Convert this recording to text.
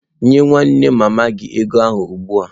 Nye nwanne mama gi ego a ugbua!